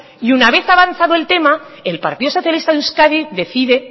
y una vez avanzado el tema el partido socialista de euskadi decide